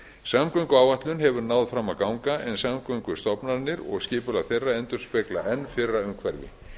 samgönguáætlun hefur náð fram að ganga en samgöngustofnanirnar og skipulag þeirra endurspegla enn fyrra umhverfi